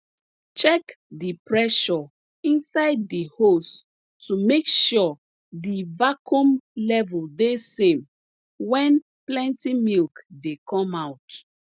check di pressure inside di hose to make sure di vacuum level de same wen plenty milk dey come out